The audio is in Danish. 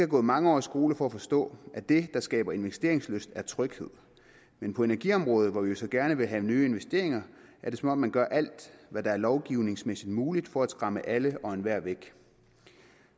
gået mange år i skole for at forstå at det der skaber investeringslyst er tryghed men på energiområdet hvor vi jo så gerne vil have nye investeringer er det som om man gør alt hvad der er lovgivningsmæssig muligt for at skræmme alle og enhver væk